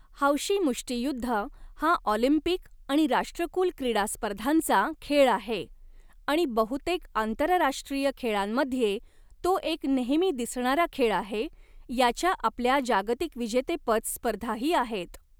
हौशी मुष्टियुद्ध हा ऑलिम्पिक आणि राष्ट्रकुल क्रीडा स्पर्धांचा खेळ आहे आणि बहुतेक आंतरराष्ट्रीय खेळांमध्ये तो एक नेहमी दिसणारा खेळ आहे, याच्या आपल्या जागतिक विजेतेपद स्पर्धाही आहेत.